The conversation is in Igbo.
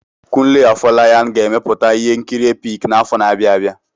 Kunle Afolayan ga-emepụta ihe nkiri epik n'afọ na-abịa abịa.